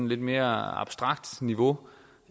lidt mere abstrakt niveau